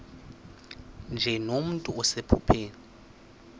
nje nomntu osephupheni